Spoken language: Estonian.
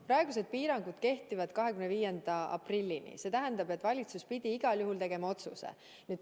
Praegused piirangud kehtivad 25. aprillini, see tähendab, et valitsus pidi igal juhul tegema otsuse.